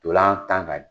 Ntolan tan ka